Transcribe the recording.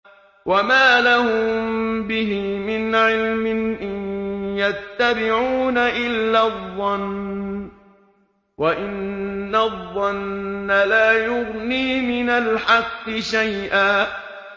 وَمَا لَهُم بِهِ مِنْ عِلْمٍ ۖ إِن يَتَّبِعُونَ إِلَّا الظَّنَّ ۖ وَإِنَّ الظَّنَّ لَا يُغْنِي مِنَ الْحَقِّ شَيْئًا